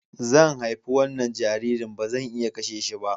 Zan haifi wannan jaririn, ba zan iya kashe shi ba.